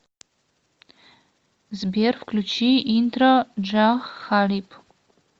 сбер включи интро джах халиб